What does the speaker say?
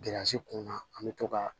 Gilansi kunna an bɛ to ka